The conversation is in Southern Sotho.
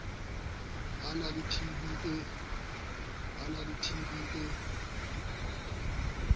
ba na le tb e